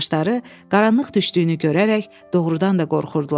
Yoldaşları qaranlıq düşdüyünü görərək doğrudan da qorxurdular.